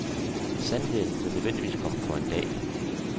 Sandheden vil nødvendigvis komme for en dag.